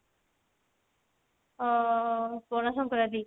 ଓ Pana Sankranti